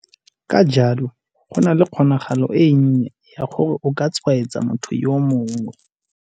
Ka jalo, go nna le kgonagalo e nnye ya gore o ka tshwaetsa motho yo mongwe.